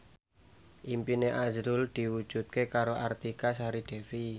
impine azrul diwujudke karo Artika Sari Devi